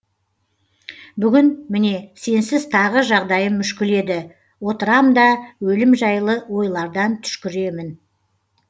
бүгін міне сенсіз тағы жағдайым мүшкіл еді отырам да өлім жайлы ойлардан түшкіремін